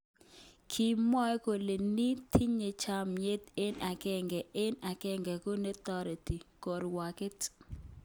Kimwoe kele nin tinye chamet eng agenge eng agenge ko neyote kerwoget.